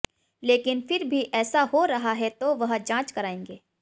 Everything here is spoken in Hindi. लेकिन फिर भी ऐसा हो रहा है तो वह जांच करायेंगे